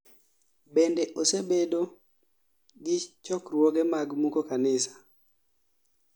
bende osebedo gi chokruoge mag muko kanisa